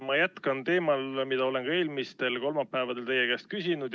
Ma jätkan teemal, mida olen ka eelmistel kolmapäevadel teie käest küsinud.